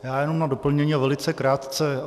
Já jenom na doplnění a velice krátce.